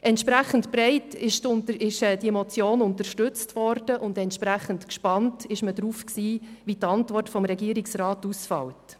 Entsprechend breit wurde die Motion unterstützt, und entsprechend gespannt war man auf die Antwort des Regierungsrats.